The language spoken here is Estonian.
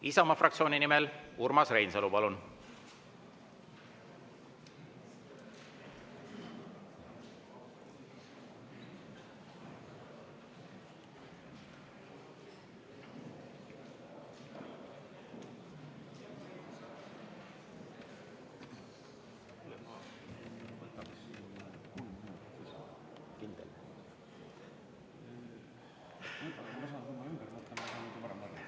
Isamaa fraktsiooni nimel Urmas Reinsalu, palun!